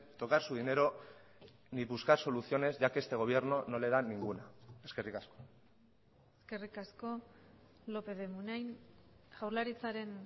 tocar su dinero ni buscar soluciones ya que este gobierno no le da ninguna eskerrik asko eskerrik asko lópez de munain jaurlaritzaren